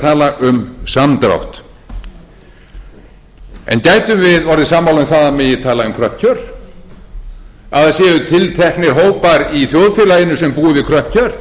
tala um samdrátt en gætum við orðið sammála um að það megi tala um kröpp kjör að það séu tilteknir hópar í þjóðfélaginu sem búa við kröpp kjör